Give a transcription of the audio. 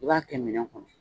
I b'a kɛ minɛn kɔnɔ